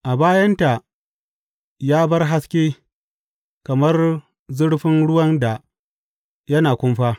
A bayanta ya bar haske kamar zurfin ruwan da yana kumfa.